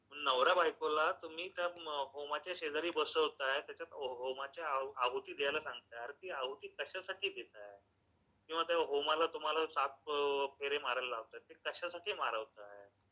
नवरा बायकोला तुम्ही त्या होमाच्या शेजारी बसवताय, त्याच्यात होमाच्या आहुती द्यायला सांगताय, अरे ती आहुती कश्यासाठी देताय किंवा त्या होमाला तुम्हाला सात फेरे मारायला लावतायत कश्यासाठी मारवताय